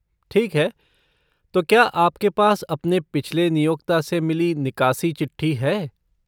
ठीक है, तो क्या आपके पास अपने पिछले नियोक्ता से मिली निकासी चिट्ठी है?